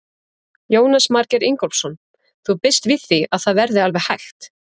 Jónas Margeir Ingólfsson: Þú býst við því að það verði alveg hægt?